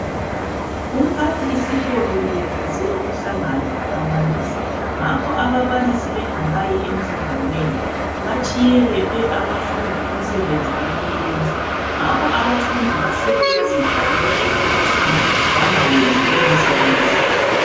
Umphathisikolo ubebize umhlangano lababalisi, ngakho ababalisi bengakayi emhlanganweni batshiye bephe abafundi umsebenzi wokuyenza, ngakho abafundi basele bezidlalela ekilasini bangawenzi lowo msebenzi.